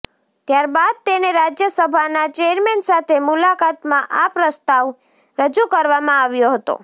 ત્યારબાદ તેને રાજ્યસભાના ચેરમેન સાથે મુલાકાતમાં આ પ્રસ્તાવ રજુ કરવામાં આવ્યો હતો